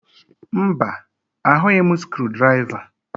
Mba, ahụghị m skrụdiraiva